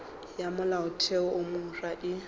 ya molaotheo wo mofsa e